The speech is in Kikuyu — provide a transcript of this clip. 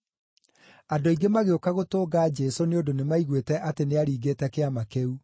Andũ aingĩ magĩũka gũtũnga Jesũ nĩ ũndũ nĩmaiguĩte atĩ nĩaringĩte kĩama kĩu.